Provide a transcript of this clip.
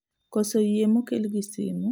Koso yie mokel gi simu